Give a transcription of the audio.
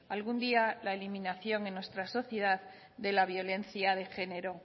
algún día la eliminación en nuestra sociedad de la violencia de genero